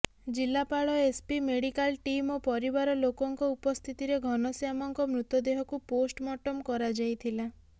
ଜିଲ୍ଲାପାଳ SP medical team ଓ ପରିବାର ଲୋକଙ୍କ ଉପସ୍ଥିତିରେ ଘନଶ୍ୟାମଙ୍କ ମୃତଦେହକୁ ପୋଷ୍ଟମର୍ଟମ କରାଯାଇ ଥିଲା